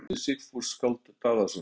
Síðar orti Sigfús skáld Daðason